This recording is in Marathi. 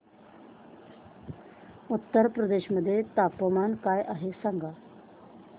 उत्तर प्रदेश मध्ये तापमान काय आहे सांगा